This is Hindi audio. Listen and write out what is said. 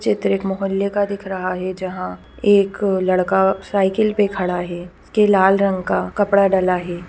चित्र एक मोहल्ले का दिख रहा है जहां एक लड़का साइकिल पे खड़ा है इसके लाल रंग का कपड़ा डला है।